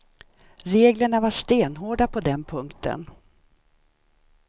Reglerna var stenhårda på den punkten.